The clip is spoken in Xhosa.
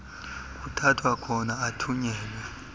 kuthathwa khona athunyelwe